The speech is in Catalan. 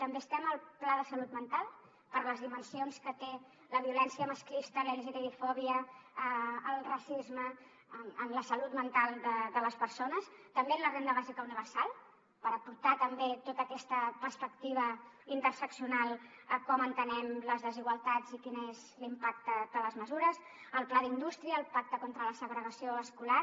també estem al pla de salut mental per les dimensions que té la violència masclista la lgtbifòbia el racisme en la salut mental de les persones també en la renda bàsica universal per aportar també tota aquesta perspectiva interseccional a com entenem les desigualtats i quin és l’impacte de les mesures al pla d’indústria al pacte contra la segregació escolar